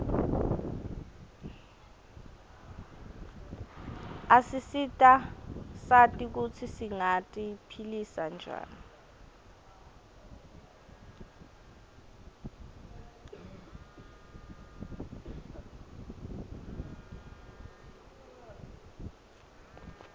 asisita sati kutsi singati philisa njani